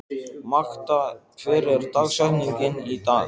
Magda, hver er dagsetningin í dag?